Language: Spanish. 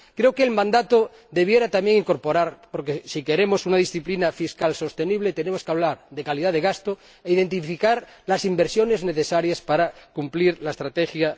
Creo que el mandato debiera también incorporar —porque si queremos una disciplina fiscal sostenible tenemos que hablar de calidad de gasto— e identificar las inversiones necesarias para cumplir la Estrategia